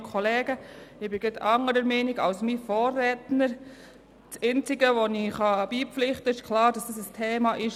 Ich kann einzig beipflichten, dass der Dienstleistungsbereich klar ein Thema ist.